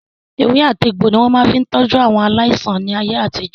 Ewé àti egbò ni wọ́n máa fi ń tọ́jú aláìsàn ní ayé àtijó.